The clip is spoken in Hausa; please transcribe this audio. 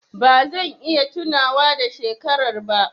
Ba zan iya tunawa da shekarar ba.